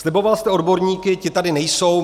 Sliboval jste odborníky, ti tady nejsou.